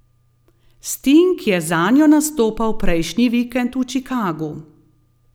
Sting je zanjo nastopal prejšnji vikend v Čikagu.